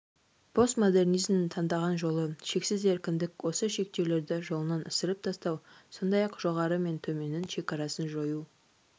постмодернизмнің таңдаған жолы шексіз еркіндік осы шектеулерді жолынан ысырып тастау сондай-ақ жоғары мен төменнің шекарасын жою